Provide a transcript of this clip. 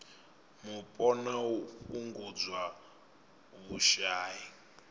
mupo na u fhungudza vhushai